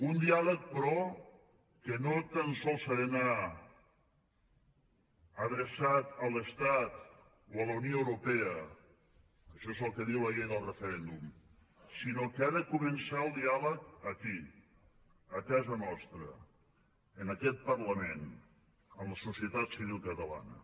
un diàleg però que no tan sols ha d’anar adreçat a l’estat o a la unió europea això és el que diu la llei del referèndum sinó que ha de començar el diàleg aquí a casa nostra en aquest parlament en la societat civil catalana